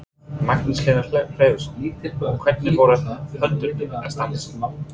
Magnús Hlynur Hreiðarsson: Og hvernig voru hundarnir að standa sig?